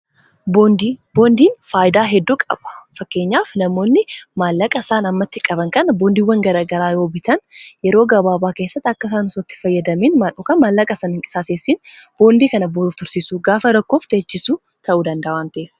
boondiin faayidaa hedduu qaba fakkeenyaaf namoonni maallaqa isaan ammatti qaban kan boondiiwwan garagaraa yoo bitaan yeroo gabaabaa keessatti akka isaan osoo itti fayyadamiin maan'okan maallaqa isaanii hin qisaaseessiin boondii kana booduf tursiisu gaafa rakkoof teechisu ta'uu danda'a waanta'eef